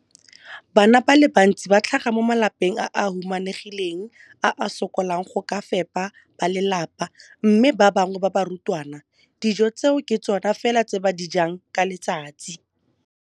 Bana ba le bantsi ba tlhaga mo malapeng a a humanegileng a a sokolang go ka fepa ba lelapa mme ba bangwe ba barutwana, dijo tseo ke tsona fela tse ba di jang ka letsatsi.